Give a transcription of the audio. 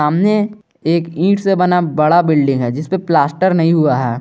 सामने एक ईट से बना बड़ा बिल्डिंग है जिस पे प्लास्टर नहीं हुआ है।